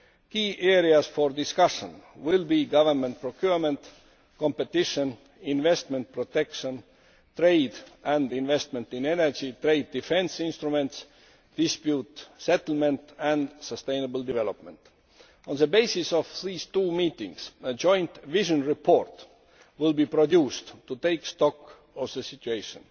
Key areas for discussion will be government procurement, competition, investment protection, trade and investment in energy, trade defence instruments, dispute settlement and sustainable development. On the basis of these two meetings, a joint vision report will be produced to take stock of the situation.